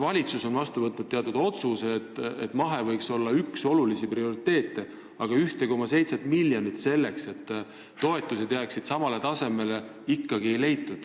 Valitsus on vastu võtnud otsuse, et mahetootmine võiks olla üks olulisi prioriteete, aga 1,7 miljonit selleks, et toetused jääksid samale tasemele, ikkagi ei leitud.